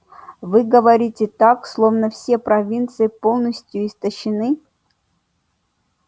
вы говорите так словно все провинции полностью истощены